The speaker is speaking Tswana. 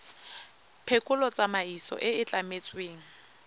phekolo tsamaiso e e tlametsweng